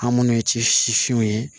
An munnu ye ci sifinw ye